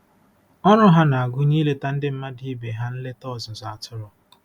Ọrụ ha na-agụnye ileta ndị mmadụ ibe ha nleta ọzụzụ atụrụ.